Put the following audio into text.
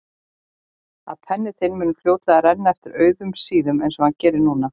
Að penni þinn mun fljótlega renna eftir auðum síðum einsog hann gerir núna.